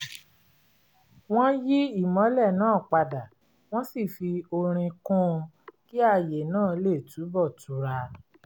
wọ́n yí ìmọ́lẹ̀ náà padà wọ́n sì fi orin kún un kí ààyè náà lè túnbọ̀ tura